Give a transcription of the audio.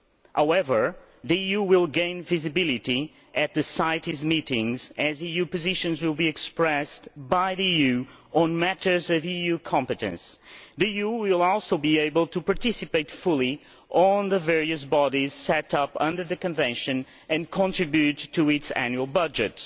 However, the EU will gain visibility at the CITES meetings, as EU positions will be expressed by the EU on matters of EU competence. The EU will also be able to participate fully in the various bodies set up under the Convention and contribute to its annual budget.